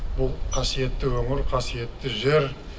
бұл қасиетті өңір қасиетті жер